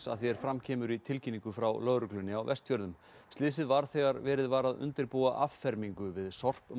að því er fram kemur í tilkynningu frá Lögreglunni á Vestfjörðum slysið varð þegar verið var að undirbúa affermingu við